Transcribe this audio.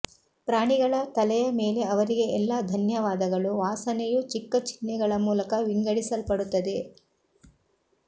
ಪ್ರಾಣಿಗಳ ತಲೆಯ ಮೇಲೆ ಅವರಿಗೆ ಎಲ್ಲಾ ಧನ್ಯವಾದಗಳು ವಾಸನೆಯು ಚಿಕ್ಕ ಚಿಹ್ನೆಗಳ ಮೂಲಕ ವಿಂಗಡಿಸಲ್ಪಡುತ್ತದೆ